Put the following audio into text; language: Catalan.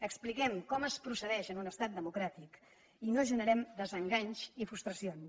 expliquem com es procedeix en un estat democràtic i no generem desenganys i frustracions